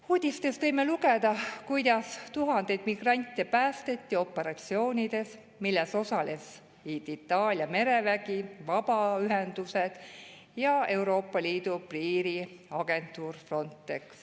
Uudistest võime lugeda, kuidas tuhandeid migrante päästeti operatsioonides, milles osalesid Itaalia merevägi, vabaühendused ja Euroopa Liidu piiriagentuur Frontex.